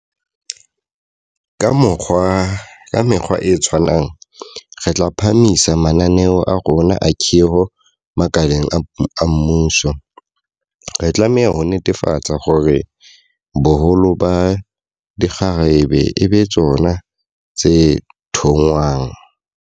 Ka mekgwa e tshwanang, re tla phahamisa mananeo a rona a khiro makaleng a mmuso, re tlameha ho netefatsa hore boholo ba dikgarabe e ba tsona tse thongwang.